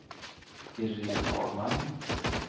Iréne Hagman